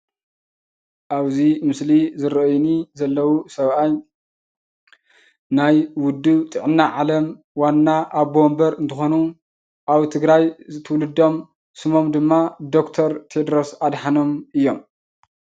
አብዚ ምስሊ ዝረአይኒ ዘለው ሰብአይ ናይ ውድብ ጥዕና ዓለም ዋና አቦ ወንበር እንትኮኑ አብ ትግራይ ትውልዶም ስሞም ድማ ድክተር ቴደሮሰ አደሃኖምእዮም ፡፡